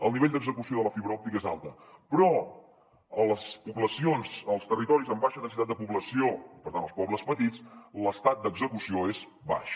el nivell d’execució de la fibra òptica és alt però a les poblacions als territoris amb baixa densitat de població per tant als pobles petits l’estat d’execució és baix